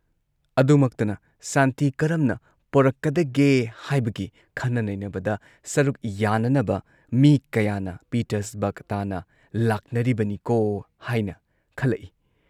ꯑꯗꯨꯃꯛꯇꯅ ꯁꯥꯟꯇꯤ ꯀꯔꯝꯅ ꯄꯣꯔꯛꯀꯗꯒꯦ ꯍꯥꯏꯕꯒꯤ ꯈꯟꯅ ꯅꯩꯅꯕꯗ ꯁꯔꯨꯛ ꯌꯥꯅꯅꯕ ꯃꯤ ꯀꯌꯥꯅ ꯄꯤꯇꯔꯁꯕꯔꯒ ꯇꯥꯟꯅ ꯂꯥꯛꯅꯔꯤꯕꯅꯤꯀꯣ ꯍꯥꯏꯅ ꯈꯜꯂꯛꯏ ꯫